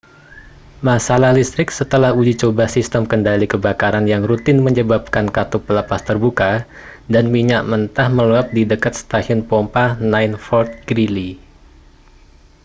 masalah listrik setelah uji coba sistem kendali kebakaran yang rutin menyebabkan katup pelepas terbuka dan minyak mentah meluap di dekat stasiun pompa 9 fort greely